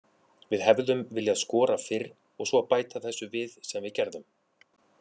Við hefðum viljað skora fyrr og svo bæta þessu við sem við gerðum.